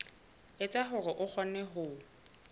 etsa hore o kgone ho